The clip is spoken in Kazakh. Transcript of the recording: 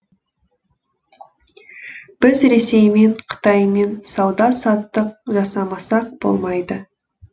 біз ресеймен қытаймен сауда саттық жасамасақ болмайды